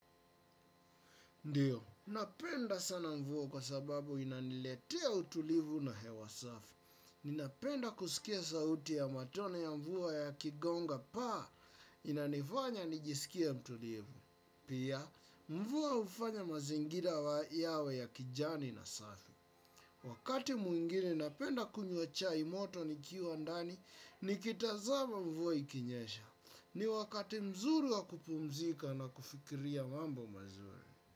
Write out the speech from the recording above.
Ndiyo, napenda sana mvua kwa sababu inaniletea utulivu na hewa safi. Ninapenda kusikia sauti ya matone ya mvua yakigonga paa inanifanya nijisikie mtulivu. Pia, mvua hufanya mazingira yawe ya kijani na safi. Wakati mwingine napenda kunywa chai moto nikiwa ndani, nikitazama mvua ikinyesha. Ni wakati mzuri wa kupumzika na kufikiria mambo mazuri.